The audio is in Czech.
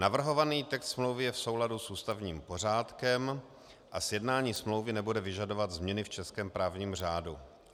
Navrhovaný text smlouvy je v souladu s ústavním pořádkem a sjednání smlouvy nebude vyžadovat změny v českém právním řádu.